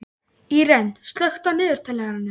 Íren, slökktu á niðurteljaranum.